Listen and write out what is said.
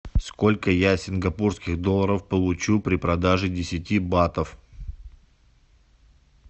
сколько я сингапурских долларов получу при продаже десяти батов